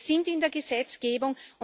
Wir sind in der Gesetzgebung.